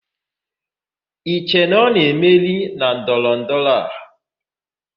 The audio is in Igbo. I che na ọ na-emeri na ndọrọ ndọrọ a?